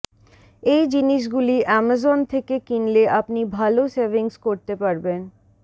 এই জিনিসগুলি অ্যামাজন থেকে কিনলে আপনি ভাল সেভিংস করতে পারবেন